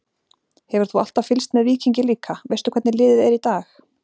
Hefur þú alltaf fylgst með Víkingi líka, veistu hvernig liðið er í dag?